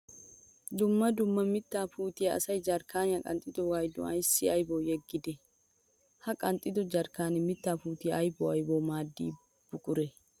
Dumma dumma mitta puutiya asay jarkkaniya qanxxidooga gidon asay aybbawu yeggidde? Ha qanxxiddo jarkkanne mitta puutiya aybbawu aybbawu maadiya buqure?